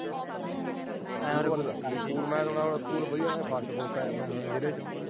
School ਬਾਰੇ ਦੱਸ। ਮੈਂ ਸੁਣਿਆ ਸਕੂਲ first ਫਾਸਟ ਆਇਆ ਜ਼ਿਲ੍ਹੇ ਚੋਂ।